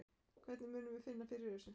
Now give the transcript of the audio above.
Hvernig munum við finna fyrir þessu?